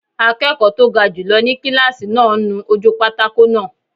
Akẹ́kọ̀ọ́ tó ga jùlọ ni kílásì náà ń nu ojú pátákó náà